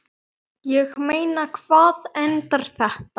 Ég meina, hvar endar þetta?